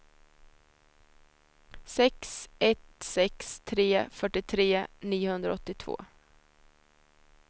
sex ett sex tre fyrtiotre niohundraåttiotvå